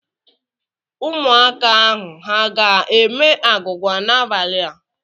Ụmụaka ahụ ha ga-eme agwụgwa n'abalị a?